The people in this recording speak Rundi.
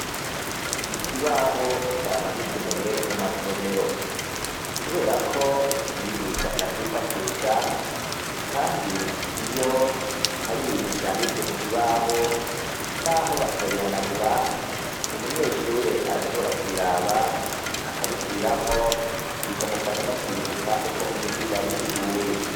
Ikibaho cama gikenewe mu masomero, kubera ko umwigisha aracifashisha, kandi iyo hari ibintu vyanditswe ku kibaho, n'aho batobihanagura umunyeshure arashobora kubiraba akabisubiramwo, bikamufasha no kwibuka uko umwigisha yabisiguye.